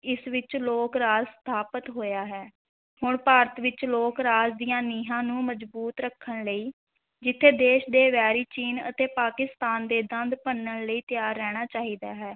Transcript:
ਇਸ ਵਿਚ ਲੋਕ-ਰਾਜ ਸਥਾਪਤ ਹੋਇਆ ਹੈ, ਹੁਣ ਭਾਰਤ ਵਿੱਚ ਲੋਕ-ਰਾਜ ਦੀਆਂ ਨੀਂਹਾਂ ਨੂੰ ਮਜ਼ਬੂਤ ਰੱਖਣ ਲਈ, ਜਿੱਥੇ ਦੇਸ਼ ਦੇ ਵੈਰੀ ਚੀਨ ਅਤੇ ਪਾਕਿਸਤਾਨ ਦੇ ਦੰਦ ਭੰਨਣ ਲਈ ਤਿਆਰ ਰਹਿਣਾ ਚਾਹੀਦਾ ਹੈ,